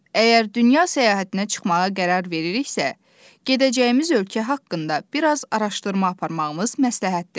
Əgər dünya səyahətinə çıxmağa qərar veririksə, gedəcəyimiz ölkə haqqında biraz araşdırma aparmağımız məsləhətdir.